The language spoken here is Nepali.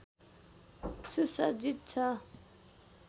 सुसज्जित छ